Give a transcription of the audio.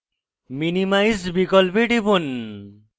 minimize বিকল্পে টিপুন